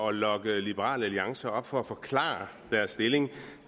at lokke liberal alliance herop for at forklare deres stilling